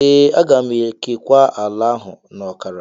Ee, aga m ekewa ala ahụ na ọkara.